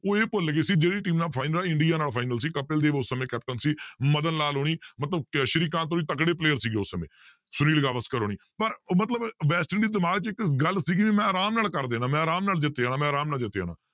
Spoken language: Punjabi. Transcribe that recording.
ਉਹ ਇਹ ਭੁੱਲ ਗਏ ਸੀ ਜਿਹੜੀ team ਨਾਲ final ਇੰਡੀਆ ਨਾਲ final ਸੀ ਕਪਿਲ ਦੇਵ ਉਸ ਸਮੇਂ ਕੈਪਟਨ ਸੀ ਮਦਨ ਲਾਲ ਹੋਣੀ ਮਤਲਬ ਕਿ ਸ੍ਰੀ ਕਾਂਤ ਹੋਣੀ ਤਕੜੇ player ਸੀਗੇ ਉਸ ਸਮੇਂ ਸੁਨੀਲ ਗਾਵਰਸ਼ਕਰ ਹੋਣੀ ਪਰ ਮਤਲਬ ਵੈਸਟ ਇੰਡੀ ਦਿਮਾਗ 'ਚ ਇੱਕ ਗੱਲ ਸੀਗੀ ਵੀ ਮੈਂ ਆਰਾਮ ਨਾਲ ਕਰ ਦੇਣਾ ਮੈਂ ਆਰਾਮ ਨਾਲ ਜਿੱਤ ਜਾਣਾ ਮੈਂ ਆਰਾਮ ਨਾਲ ਜਿੱਤ ਜਾਣਾ,